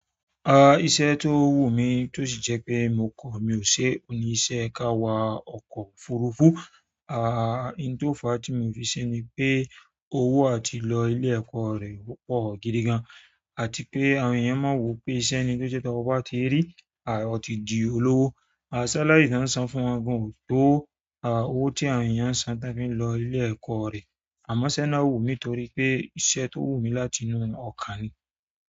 Ah! Iṣẹ́ tó wù mí tó sì jẹ́ pé mo kọ̀, mi ò ṣe, ò ní í ṣe ká wá ọkọ̀ òfurufú. Ahh, hin tó fàá ti mii fi ṣe ni pe, owo àti lo ilé-ẹ̀kọ́ rẹ̀, oo pọ̀ gidigan, àti pé àwọn èyàn máa ń wo pé iṣẹ́ ni to je to mo baa ti i ri, a oti di olowo and salari tí wọ́n ń san fún wọn gan ò tó owó tí àwọn èèyàn ń san tán fi n lọ ilé ẹ̀kọ́ rẹ̀. Àmọ́ iṣẹ́ náà wù mí nítorí pé iṣẹ́ tó wù mí láti inú ọkàn ni.